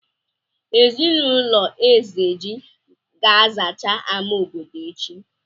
Ezinụlọ Ezeji ga-azacha àmà obodo echi?